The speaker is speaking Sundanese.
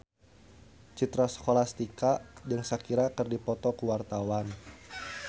Citra Scholastika jeung Shakira keur dipoto ku wartawan